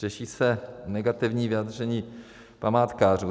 Řeší se negativní vyjádření památkářů.